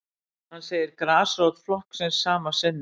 Hann segir grasrót flokksins sama sinnis